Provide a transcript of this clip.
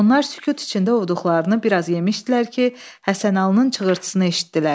Onlar sükut içində oduqlarını bir az yemişdilər ki, Həsənalının çığırtısını eşitdilər.